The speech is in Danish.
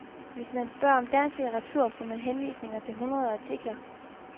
Hvis man spørger om dansk litteratur får man henvisninger til hundrede artikler.